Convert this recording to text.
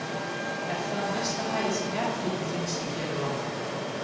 Er það mesta hæð sem jarðhiti finnst í hér á landi.